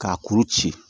K'a kuru ci